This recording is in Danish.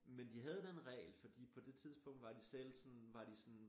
Men de havde den regel fordi på det tidspunkt var de selv sådan var de sådan